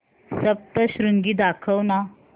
सप्तशृंगी दाखव ना